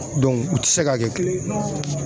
u tɛ se ka kɛ kelen ye.